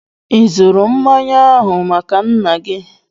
Ị zụrụ mmanya ahụ maka nnaa gị?